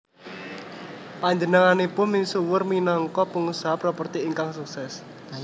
Panjenenganipun misuwur minangka pengusaha properti ingkang sukses